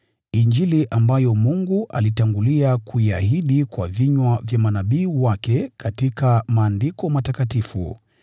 Injili ambayo Mungu alitangulia kuiahidi kwa vinywa vya manabii wake katika Maandiko Matakatifu,